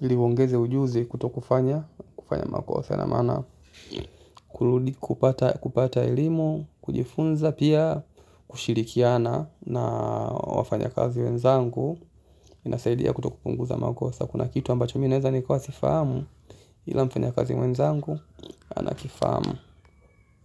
ili uongeze ujuzi kutofanya makosa. Kupata elimu kujifunza pia kushirikiana na wafanyakazi wenzangu. Inasaidia kutopunguza makosa kuna kitu ambacho mimi naweza nikawa sifahamu. Ila mfanyakazi mwenzangu anakifahamu.